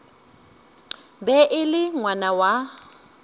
be e le ngwana wa